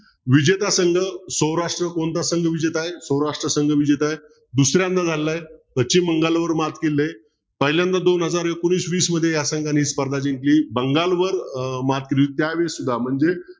विजेता संघ सौराष्ट्र कोणता संघ विजेता आहे सौराष्ट्र संघ विजेता आहे दुसऱ्यांदा झालेलं आहे पश्चिम बंगालवर मात केलेली आहे पहिल्यांदा दोन हजार एकोणवीस वीस मध्ये ह्या संघाने स्पर्धा जिंकली बंगालवर अह मात्र त्यावेळेस म्हणजे